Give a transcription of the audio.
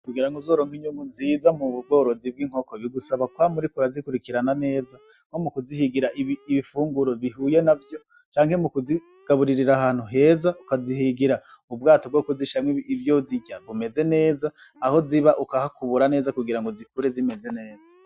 Kugira ngo uzoronke inyungu nziza mu bworozi bw'inkoko bigusaba kwama uriko urazikurikirana neza nko mu kuzihigira ibifunguro bihuye navyo canke mu kuzigaburirira ahantu heza, ukazihigira ubwato bwo kuzishiramwo ivyo zirya bumeze neza aho ziba uka hakubura neza kugira zikure zimeze neza.